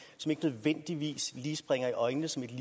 som ikke nødvendigvis lige springer i øjnene som et